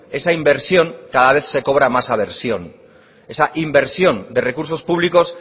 esa inversión cada vez se cobra más aversión esa inversión de recursos públicos